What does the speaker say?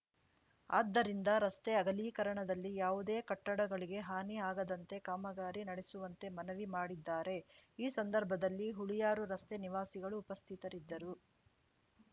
ಆದ್ದರಿಂದ ರಸ್ತೆ ಅಗಲೀಕರಣದಲ್ಲಿ ಯಾವುದೇ ಕಟ್ಟಡಗಳಿಗೆ ಹಾನಿ ಆಗದಂತೆ ಕಾಮಗಾರಿ ನಡೆಸುವಂತೆ ಮನವಿ ಮಾಡಿದ್ದಾರೆ ಈ ಸಂದರ್ಭದಲ್ಲಿ ಹುಳಿಯಾರು ರಸ್ತೆ ನಿವಾಸಿಗಳು ಉಪಸ್ಥಿತರಿದ್ದರು